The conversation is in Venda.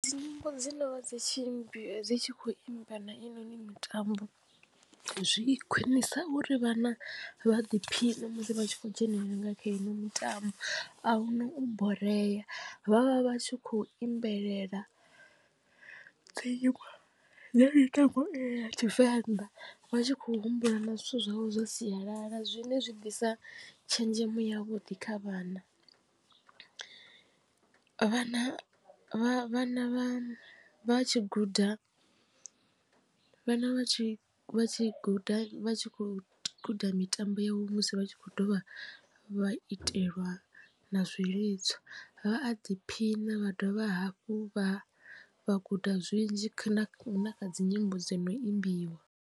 Nyimbo dzi no dzi tshi imbiwa dzi tshi kho imba na i noni mitambo zwi khwinisa uri vhana vha ḓiphiṋe musi vha tshi khou dzhenelela nga kha ino mitambo ahuna u boreya vhavha vhatshi kho imbelela dzi nyimbo dza mitambo i ya tshivenḓa vha tshi khou humbula na zwithu zwavho zwa sialala zwine zwi ḓisa tshenzhemo ya vhuḓi kha vhana. Vhana vha vhana vha tshi guda vhana vha tshi vha tshi guda vha tshi khou guda mitambo yavho musi vha tshi khou dovha vha itelwa na zwilidzo vha a ḓiphina vha dovha hafhu vha vha guda zwinzhi na na kha dzi nyimbo dzo no imbiwa.